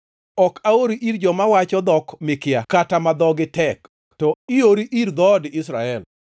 Ok aori ir joma wacho dhok mikia kata ma dhogi tek, to iori ir dhood Israel.